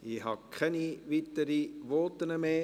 Ich habe keine weiteren Voten mehr.